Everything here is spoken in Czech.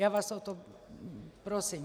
Já vás o to prosím.